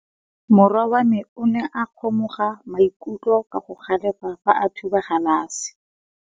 Morwa wa me o ne a kgomoga maikutlo ka go galefa fa a thuba galase.